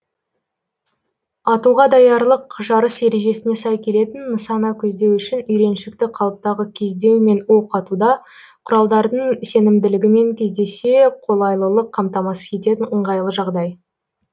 атуға даярлық жарыс ережесіне сай келетін нысана көздеу үшін үйреншікті қалыптағы кездеу мен оқ атуда құралдардың сенімділігімен кездесе қолайлылық қамтамасыз ететін ыңғайлы жағдай